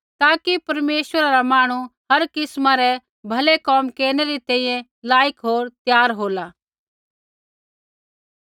ताकि परमेश्वरा रा जन हर किस्मा रै भलै कोम केरनै री तैंईंयैं लायक होर त्यार होला